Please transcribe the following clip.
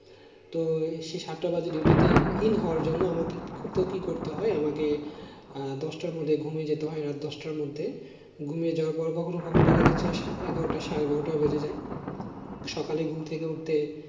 তো সেই সাতটা বাজে duty তে in হওয়ার জন্যে আমাকে কত কি করতে হয় আমাকে আহ দশটার মধ্যে ঘুমিয়ে যেতে হয় রাত দশটার মধ্যে ঘুমিয়ে যাওয়ার পর কখনো কখনো দেখা যাচ্ছে এগারোটা সাড়ে বারোটা বেজে যায় সকালে ঘুম থেকে উঠতে